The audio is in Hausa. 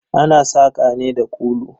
Ana saƙa ne da kulu.